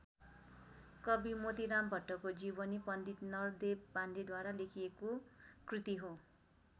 कवि मोतीराम भट्टको जीवनी पण्डित नरदेव पाण्डेद्वारा लेखिएको कृति हो।